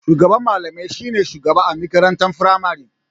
Shugaban malamai shi ne shugaba a makarantar firamari.